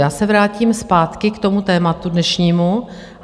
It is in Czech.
Já se vrátím zpátky k tomu tématu dnešnímu.